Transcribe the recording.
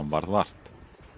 varð vart